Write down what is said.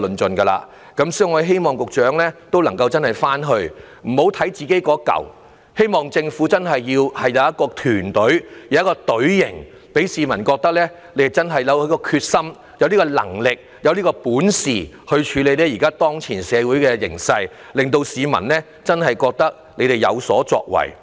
所以，我不單希望局長回去要檢視本身的工作，更希望政府真正表現出團隊精神，讓市民覺得政府有決心和能力處理當前的社會形勢，真正覺得政府有所作為。